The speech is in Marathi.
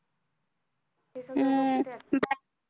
हम्म bank